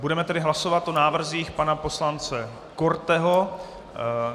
Budeme tedy hlasovat o návrzích pana poslance Korteho.